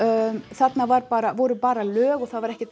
þarna voru bara voru bara lög og það var